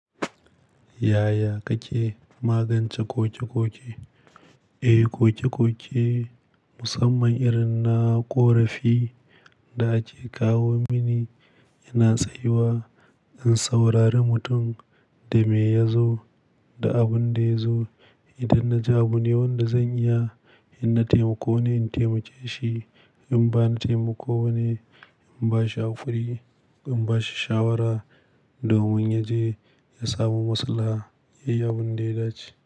Yaya kake magance koke-koke? Eh, koke-koke musamman irin na ƙorafi da ake kawo mini ina tsayuwa in saurari mutum da me ya zo da abin da ya zo. Idan na ji abu ne wanda zan iya in na taimako ne, in taimake shi. In ba na taimako ba ne, in ba shi haƙuri, ko in ba shi shawara domin ya je ya samu maslaha. Yi abun da ya dace.